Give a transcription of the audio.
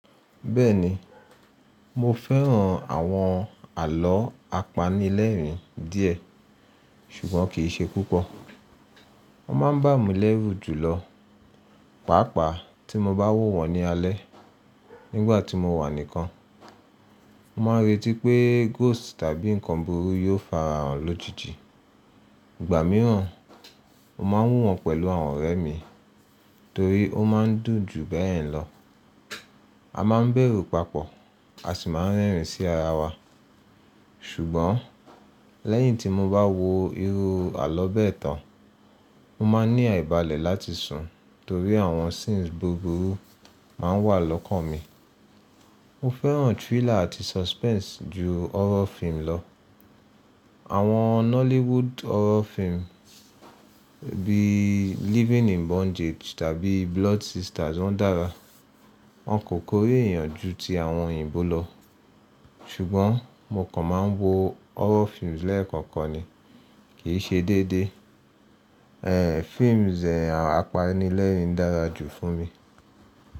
Bẹ́ẹ̀ni, mo fẹ́ràn àwọn àlọ́ apanilẹ́rìn díẹ̀ ṣùgbọ́n kì í ṣe púpọ̀. Wọ́n máa ń bà mí lẹ́rù jùlọ, pàápàá tí mo bá wò wọ́n ní alẹ́ nígbà tí mo wà nìkan. Mo máa ń retí pé ghost tàbí ǹkan burúkú yóò farahàn lójijì. Ìgbà mìíràn, mo máa ń wò wọ́n pẹ̀lú àwọn ọ̀rẹ́ mi torí ó máa ń dùn ju bẹ́ẹ̀ lọ. A máa ń bẹ̀rù papọ̀, a sì máa ń rẹ́rìn sí ara wa. Ṣùgbọ́n lẹ́yìn tí mo bá wo irú àlọ́ bẹ́ẹ̀ tán, mo máa ń ní àìbalẹ̀ láti sùn torí àwọn scenes buburú má ń wà lọ́kàn mi. Mo fẹ́ràn thriller àti suspense ju horror film lọ. Àwọn Nollywood horror film bíi Living in Bondage tàbí Blood Sisters wọ́n dára. Wọn kò kórè èèyàn ju ti àwọn òyìnbó lọ. Ṣùgbọ́n mo kàn máa ń wo horror films lẹ́ẹ̀kankan ni, kì í ṣe déédéé. Ẹ̀hh, films ẹ̀h, apanilẹ́rìn dára jù fún mi.